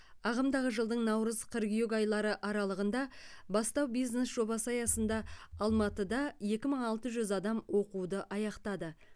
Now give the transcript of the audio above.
ағымдағы жылдың наурыз қыркүйек айлары аралығында бастау бизнес жобасы аясында алматыда екі мың алты жүз адам оқуды аяқтады